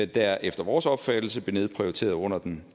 der efter vores opfattelse blev nedprioriteret under den